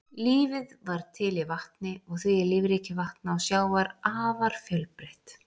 Lífið varð til í vatni og því er lífríki vatna og sjávar afar fjölbreytt.